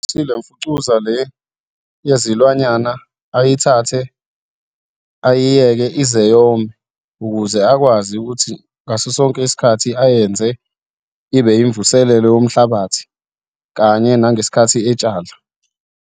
le mfucuza le yezilwanyana ayithathe, ayiyeke ize yome ukuze akwazi ukuthi ngaso sonke isikhathi ayenze ibe yimvuselelo yomhlabathi kanye nangesikhathi etshala.